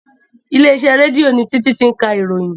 Ilé iṣẹ́ rédíò ni Títí ti ń ka ìròyìn